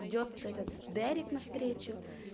идёт этот дерек навстречу